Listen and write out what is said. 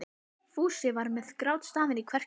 Fúsi var með grátstafinn í kverkunum.